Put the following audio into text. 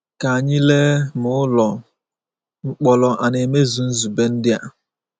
Ka anyị lee ma ụlọ mkpọrọ a na-emezu nzube ndị a.